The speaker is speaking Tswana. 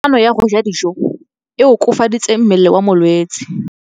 Kganô ya go ja dijo e koafaditse mmele wa molwetse.